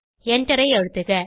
எண்டரை அழுத்துக